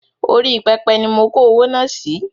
Orí pẹpẹ ni mo kó owó náà sì